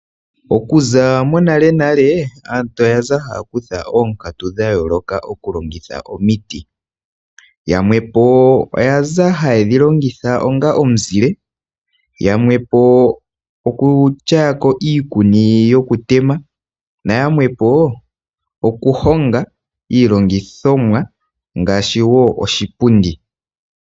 Okuza monalenale aantu oya za haya kutha oonkatu dhayooloka okulongitha omiti, yamwe po oya za haye dhi longitha onga omuzile, yamwe po okutyaya ko iikuni yokutema, yamwe po okuhonga iilongithomwa ngaashi oshipundi.